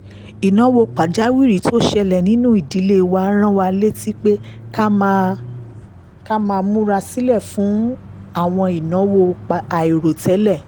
ìnáwó pàjáwìrì tó ṣẹlẹ̀ nínú ìdílé wa rán wa létí pé ká máa múra sílẹ̀ fún àwọn ìnáwó àìròtẹ́lẹ̀